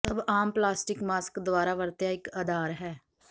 ਸਭ ਆਮ plastic mask ਦੁਆਰਾ ਵਰਤਿਆ ਇੱਕ ਅਧਾਰ ਹੈ